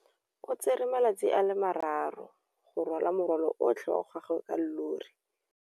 O tsere malatsi a le marraro go rwala morwalo otlhe wa gagwe ka llori.